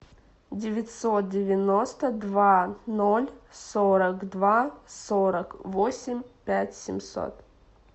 девятьсот девяносто два ноль сорок два сорок восемь пять семьсот